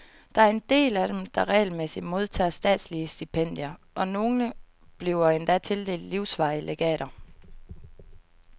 Der er en del af dem, der regelmæssigt modtager statslige stipendier, og nogle bliver endda tildelt livsvarige legater.